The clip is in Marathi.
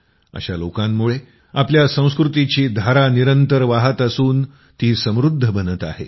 अशा लोकांमुळे आपल्या संस्कृतीची धारा निरंतर वाहत असून ती समृद्ध बनत आहे